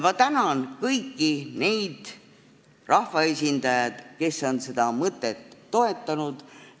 Ma tänan kõiki neid rahvaesindajaid, kes on seda mõtet toetanud.